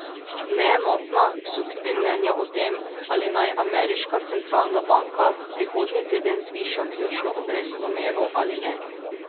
Neenotna so tudi mnenja o tem, ali naj ameriška centralna banka prihodnji teden zviša ključno obrestno mero ali ne.